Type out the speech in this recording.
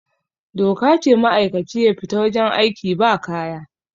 doka ce ma'aikaci ya fita wajen aiki ba kaya